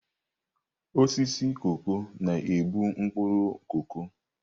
Osisi koko na-ebu mkpuru koko.